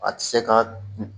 A tɛ se ka